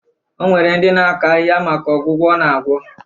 O nwere ndị na-akọ ahịhịa maka ọgwụgwọ ọ na-agwọ